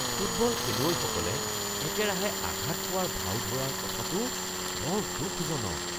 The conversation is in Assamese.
ফুটবল খেলুৱৈসকলে একেৰাহে আঘাত পোৱাৰ ভাও ধৰাৰ কথাটো বৰ দুখজনক।